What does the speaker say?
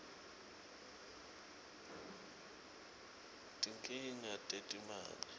tinkhinga tetimali